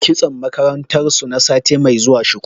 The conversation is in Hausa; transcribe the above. Kitson makarantar su na sati mai zuwa shuku.